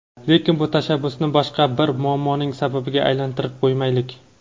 lekin bu tashabbusni boshqa bir muammoning sababiga aylantirib qo‘ymaylik.